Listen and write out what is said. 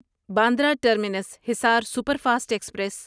Bandra terminus Hisar super fast express